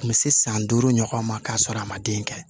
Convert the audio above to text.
A kun bɛ se san duuru ɲɔgɔn ma k'a sɔrɔ a ma den kɛ